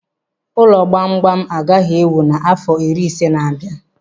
Ụlọ gbamgbam agaghị e wuu n'afọ iri ise n'abia.